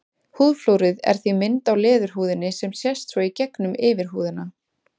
Húðflúrið er því mynd á leðurhúðinni sem sést svo í gegnum yfirhúðina.